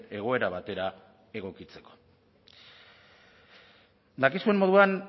egoera batera egokitzeko dakizuen moduan